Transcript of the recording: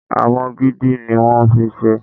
Awọ gidi ni wón fi ṣé.